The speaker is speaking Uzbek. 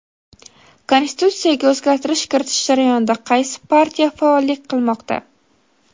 Konstitutsiyaga o‘zgartirish kiritish jarayonida qaysi partiya faollik qilmoqda?.